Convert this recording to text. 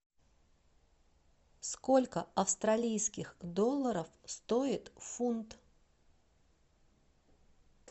сколько австралийских долларов стоит фунт